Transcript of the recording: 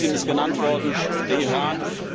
Kirgisistan ist genannt worden, der Iran.